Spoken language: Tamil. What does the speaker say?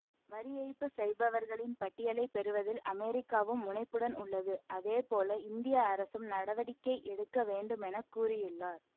வரிஏய்ப்பு செய்பவர்களின் பட்டியலை பெறுவதில் அமெரிக்காவும் முனைப்புடன் உள்ளது அதேபோல இந்திய அரசும் நடவடிக்கை எடுக்க வேண்டும் என கூறியுள்ளார்